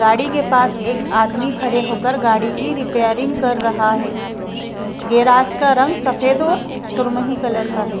गाड़ी के पास एक आदमी खड़े होकर गाड़ी की रिपेयरिंग कर रहा है गैराज का रंग सफेद और सुरमही कलर का है--